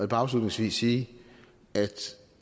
bare afslutningsvis sige at